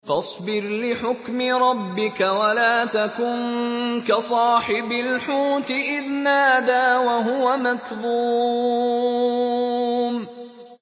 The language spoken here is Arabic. فَاصْبِرْ لِحُكْمِ رَبِّكَ وَلَا تَكُن كَصَاحِبِ الْحُوتِ إِذْ نَادَىٰ وَهُوَ مَكْظُومٌ